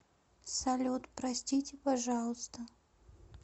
салют простите пожалуйста